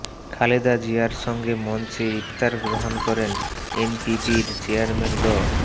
খালেদা জিয়ার সঙ্গে মঞ্চে ইফতার গ্রহণ করেন এনপিপির চেয়ারম্যান ড